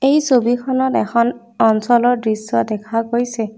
এই ছবিখনত এখন অঞ্চলৰ দৃশ্য দেখা গৈছে।